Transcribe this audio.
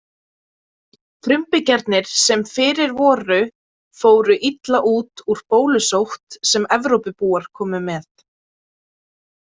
Frumbyggjarnir sem fyrir voru fóru illa út úr bólusótt sem Evrópubúar komu með.